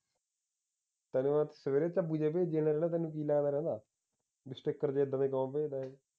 ਤੈਨੂੰ ਮੈਂ ਸਵੇਰੇ ਜੇ ਬੇਜੀ ਜਾਨਾਂ ਜੇੜਾ ਤੈਨੂੰ ਕੀ ਲੱਗਦਾ ਰਹਿੰਦਾ ਬਈ ਸਟਿੱਕਰ ਜੇ ਏਦਾਂ ਦੇ ਕਿਉਂ ਭੇਜਦਾ ਇਹ